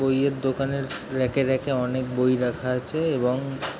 বই এর দোকানের রাক - এ রাক - এ অনকে বই রাখা আছে এবং --